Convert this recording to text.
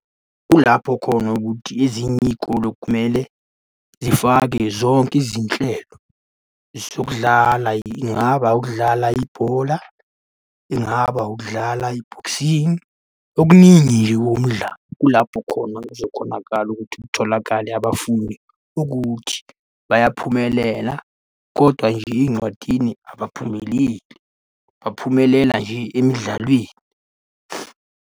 Kulapho khona ukuthi ezinye iy'kole kumele zifake zonke izinhlelo zokudlala. Ingaba ukudlala ibhola, ingaba ukudlala i-boxing. Okuningi nje okuwumdlalo, kulapho khona kuzokhonakala ukuthi kutholakale abafundi ukuthi bayaphumelela, kodwa nje ey'ncwadini abaphumeleli, baphumelela nje emidlalweni.